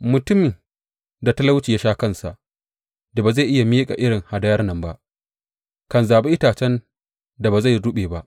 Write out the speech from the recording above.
Mutumin da talauci ya sha kansa da ba zai iya miƙa irin hadayar nan ba kan zaɓi itacen da ba zai ruɓe ba.